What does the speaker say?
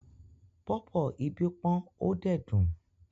Pọ̀pọ́ ibí pọ́n ó dẹ̀ dùn.